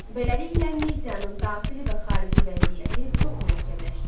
Beləliklə Miyanın daxili və xarici vəziyyəti çox mürəkkəbləşdi.